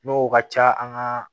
N'o ka ca an ka